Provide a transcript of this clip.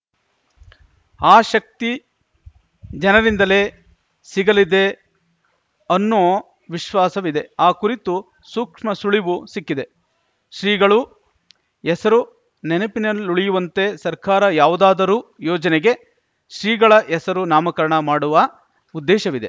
ಆ ಶಕ್ತಿ ಜನರಿಂದಲೇ ಸಿಗಲಿದೆ ಅನ್ನೋ ವಿಶ್ವಾಸವಿದೆ ಆ ಕುರಿತ ಸೂಕ್ಷ್ಮ ಸುಳಿವೂ ಸಿಕ್ಕಿದೆ ಶ್ರೀಗಳು ಹೆಸರು ನೆನಪಿನಲ್ಲುಳಿಯುವಂತೆ ಸರ್ಕಾರ ಯಾವುದಾದರು ಯೋಜನೆಗೆ ಶ್ರೀಗಳ ಹೆಸರು ನಾಮಕರಣ ಮಾಡುವ ಉದ್ದೇಶವಿದೆ